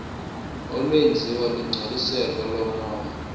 olwenziwa lungcoliseko lomoya